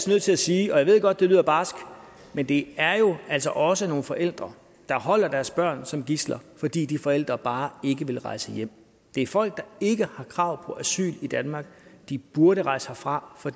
nødt til at sige og jeg ved godt det lyder barsk at det altså også er nogle forældre der holder deres børn som gidsler fordi de forældre bare ikke vil rejse hjem det er folk der ikke har krav på asyl i danmark de burde rejse herfra for